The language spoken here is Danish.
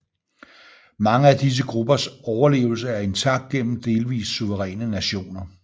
Mange af disse gruppers overlevelse er intakt gennem delvist suveræne nationer